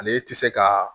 Ale tɛ se ka